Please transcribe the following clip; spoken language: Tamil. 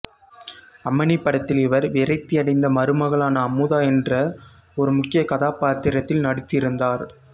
அம்மணி படத்தில் இவர் விரக்தியடைந்த மருமகளான அமுதா என்ற ஒரு முக்கிய கதாபாத்திரத்தில் நடித்திருந்தார்